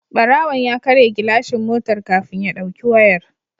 Barawon ya karya gilashin motar kafin ya dauki wayar